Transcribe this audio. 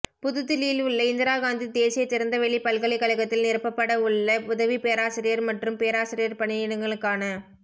புதுதில்லியில் உள்ள இந்திராகாந்தி தேசிய திறந்தவெளி பல்கலைக்கழகத்தில் நிரப்பப்பட உள்ள உதவி பேராசிரியர் மற்றும் பேராசிரியர் பணியிடங்களுக்கான